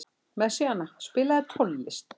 Messíana, spilaðu tónlist.